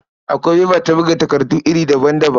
Akwai faifa ta buga takardu iri daban-daban.